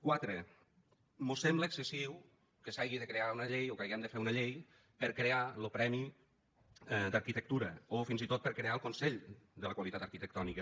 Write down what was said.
quatre mos sembla excessiu que s’hagi de crear una llei o que hàgim de fer una llei per crear lo premi d’arquitectura o fins i tot per crear el consell de la qualitat arquitectònica